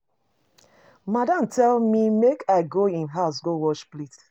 Madam tell me make I go im house go wash plate.